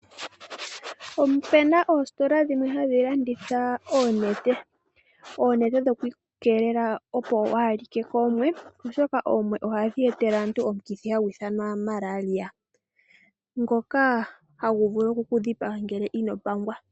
Opu na oostola dhimwe hadhi landitha oonete. Oonete dhokeiikeelela opo waa like koomwe, oshoka oomwe ohadhi etele aantu omukithi hagu ithanwa Malaria ngoka hagu vulu oku ku dhipaga ngele ino pangwa.